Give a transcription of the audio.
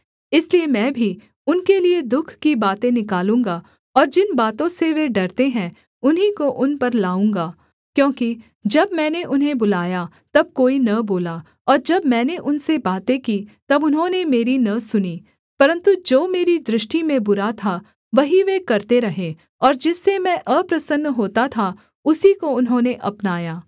इसलिए मैं भी उनके लिये दुःख की बातें निकालूँगा और जिन बातों से वे डरते हैं उन्हीं को उन पर लाऊँगा क्योंकि जब मैंने उन्हें बुलाया तब कोई न बोला और जब मैंने उनसे बातें की तब उन्होंने मेरी न सुनी परन्तु जो मेरी दृष्टि में बुरा था वही वे करते रहे और जिससे मैं अप्रसन्न होता था उसी को उन्होंने अपनाया